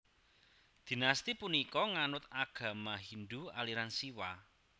Dinasti punika nganut agama Hindu aliran Siwa